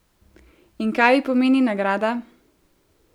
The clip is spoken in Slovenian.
In kaj ji pomeni nagrada?